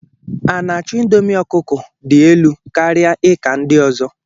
A'nacho indomie ọkụkọ dị elu karịa ika ndị ọzọ.